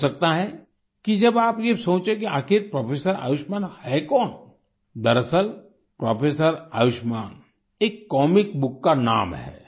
हो सकता है कि जब आप ये सोचें कि आखिर प्रोफेसर आयुष्मान हैं कौन दरअसल प्रोफेसर आयुष्मान एक कॉमिक बुक का नाम है